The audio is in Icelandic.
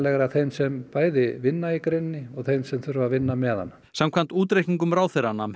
þeim sem vinna í greininni og þeim sem þurfa að vinna með hana samkvæmt útreikningum ráðherra nam